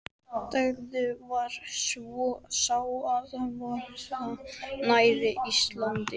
Bakþankinn var svo sá, að vera nær Íslandi.